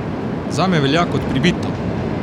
Zame velja kot pribito!